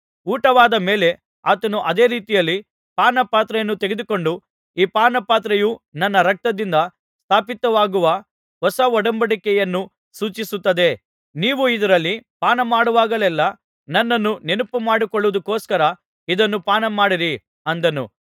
ಊಟವಾದ ಮೇಲೆ ಆತನು ಅದೇ ರೀತಿಯಲ್ಲಿ ಪಾನಪಾತ್ರೆಯನ್ನು ತೆಗೆದುಕೊಂಡು ಈ ಪಾನಪಾತ್ರೆಯು ನನ್ನ ರಕ್ತದಿಂದ ಸ್ಥಾಪಿತವಾಗುವ ಹೊಸ ಒಡಂಬಡಿಕೆಯನ್ನು ಸೂಚಿಸುತ್ತದೆ ನೀವು ಇದರಲ್ಲಿ ಪಾನಮಾಡುವಾಗೆಲೆಲ್ಲಾ ನನ್ನನ್ನು ನೆನಪುಮಾಡಿಕೊಳ್ಳುವುದಕ್ಕೋಸ್ಕರ ಇದನ್ನು ಪಾನಮಾಡಿರಿ ಅಂದನು